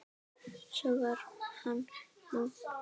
Svona var hann nú.